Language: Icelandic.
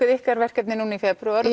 ykkar verkefni núna í febrúar